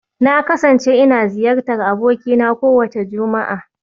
Na kasance ina ziyartar abokina kowace Juma'a